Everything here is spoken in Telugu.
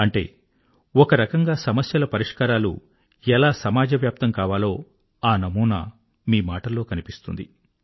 అంటే ఒక రకంగా సమస్యల పరిష్కారాలు ఎలా సమాజవ్యాప్తం కావాలో ఆ నమూనా మీ మాటల్లో కనిపిస్తుంది